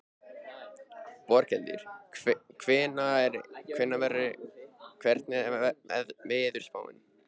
Borghildur, hvernig er veðurspáin?